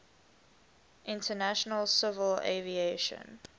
international civil aviation